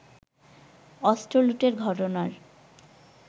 অস্ত্র লুটের ঘটনার